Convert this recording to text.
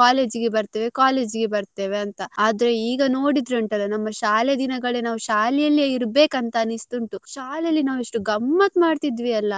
College ಗೆ ಬರ್ತೇವೆ college ಗೆ ಬರ್ತೇವೆ ಅಂತ ಆದ್ರೆ ಈಗ ನೋಡಿದ್ರೆ ಉಂಟಾಲ್ಲ ನಮ್ಮ ಶಾಲೆ ದಿನಗಳೇ ನಾವ್ ಶಾಲೆಯಲ್ಲಿ ಇರ್ಬೆಕ್ ಅಂತ ಅನಿಸ್ತುಂಟು ಶಾಲೆಯಲ್ಲಿ ನಾವೇಷ್ಟ್ ಗಮ್ಮತ್ ಮಾಡ್ತಿದ್ವಿ ಅಲ್ಲ